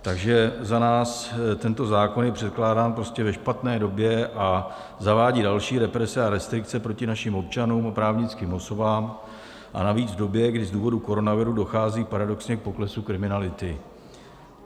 Takže za nás tento zákon je předkládán prostě ve špatné době a zavádí další represe a restrikce proti našim občanům a právnickým osobám, a navíc v době, kdy z důvodu koronaviru dochází paradoxně k poklesu kriminality.